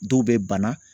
Dɔw bɛ bana